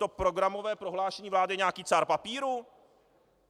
To programové prohlášení vlády je nějaký cár papíru?